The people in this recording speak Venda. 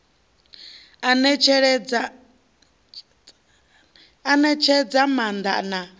u netshedza i maanda na